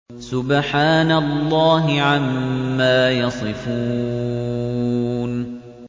سُبْحَانَ اللَّهِ عَمَّا يَصِفُونَ